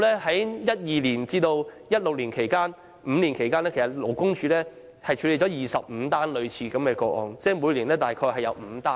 在2012年至2016年期間，勞工處5年內處理了25宗類似個案，即平均每年大約5宗。